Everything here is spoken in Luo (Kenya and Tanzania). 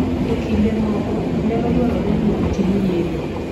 E kinde moko, nyalo dwarore ni otim yeng'o.